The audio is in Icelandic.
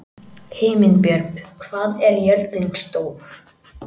Himinbjörg, hvað er jörðin stór?